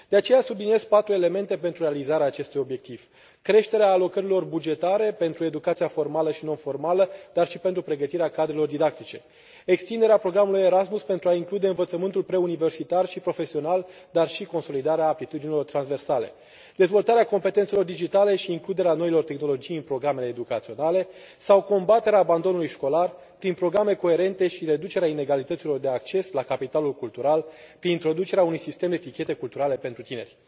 De aceea subliniez patru elemente pentru realizarea acestui obiectiv creșterea alocărilor bugetare pentru educația formală și non formală, dar și pentru pregătirea cadrelor didactice, extinderea programului Erasmus pentru a include învățământul preuniversitar și profesional, dar și consolidarea aptitudinilor transversale, dezvoltarea competențelor digitale și includerea noilor tehnologii în programele educaționale sau combaterea abandonului școlar prin programe coerente și reducerea inegalităților de acces la capitalul cultural, prin introducerea unui sistem de tichete culturale pentru tineri.